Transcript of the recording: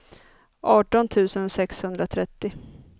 arton tusen sexhundratrettio